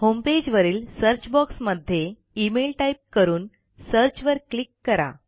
होमपेजवरीलsearch box मध्ये email type करून search वर क्लिक करा